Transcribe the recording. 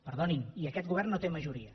perdonin i aquest govern no té majoria